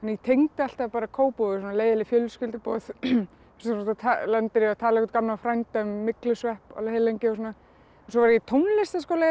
tengdi alltaf Kópavog við leiðinleg fjölskylduboð þar sem þú lendir í að tala við gamlan frænda um myglusvepp alveg heillengi og svona svo var ég í tónlistarskóla hérna í